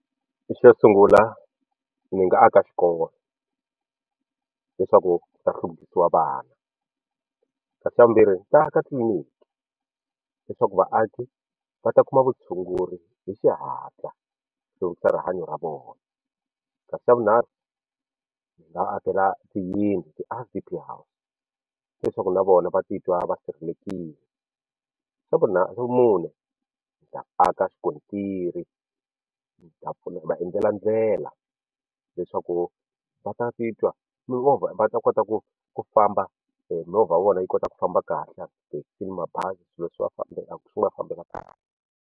Xo sungula ndzi nga aka xikolo leswaku ku ta hluvukisiwa vana kasi xa vumbirhi ni ta aka tliliniki leswaku vaaki va ta kuma vutshunguri hi xihatla hluvukisa rihanyo ra vona kasi xa vunharhu ndzi nga akela tiyindlu ti-R_D_P house leswaku na vona va ti twa va sirhelelekile xa vumune ni ta aka xikontiri va endlela ndlela leswaku va ta ti twa mimovha va ta kota ku ku famba movha wa vona yi kota ku famba kahle tithekisi mabazi swilo swi va swi va fambela kahle.